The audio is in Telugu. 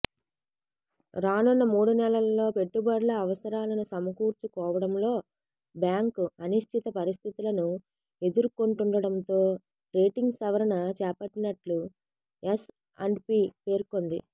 రానున్న మూడు నెలల్లో పెట్టుబడుల అవసరాలను సమకూర్చుకోవడంలో బ్యాంకు అనిశ్చిత పరిస్థితులను ఎదుర్కొంటుండటంతో రేటింగ్ సవరణ చేపట్టినట్లు ఎస్అండ్పీ పేర్కొంది